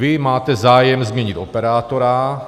Vy máte zájem změnit operátora.